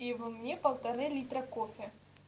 и во его мне полторы литра кофе